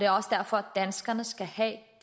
også derfor danskerne skal have det